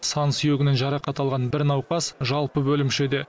сан сүйегінен жарақат алған бір науқас жалпы бөлімшеде